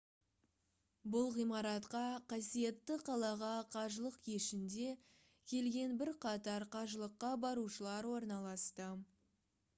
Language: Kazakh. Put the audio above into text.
бұл ғимаратқа қасиетті қалаға қажылық кешінде келген бірқатар қажылыққа барушылар орналасты